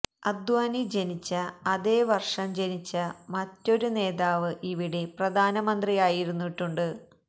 അദ്വാനി ജനിച്ച അതേ വര്ഷം ജനിച്ച മറ്റൊരു നേതാവ് ഇവിടെ പ്രധാനമന്ത്രിയായിരുന്നിട്ടുണ്ട്